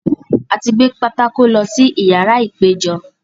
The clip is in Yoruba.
A ti gbé pátákó fun lọ́ sí ìyàrá ìpéjọ.